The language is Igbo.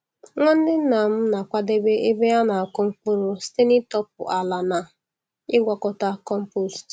Nwanne nnam na-akwadebe ebe a na-akụ mkpụrụ site n'ịtọpụ ala na ịgwakọta compost.